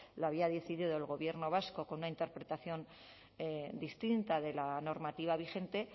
lo había decidido el gobierno vasco con una interpretación distinta de la normativa vigente